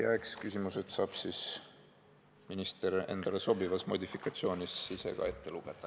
Eks küsimused saab minister endale sobivas modifikatsioonis ise ka ette lugeda.